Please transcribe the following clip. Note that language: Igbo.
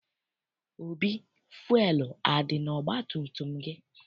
Obi, fụelụ adị n'ọgbatumtum gị?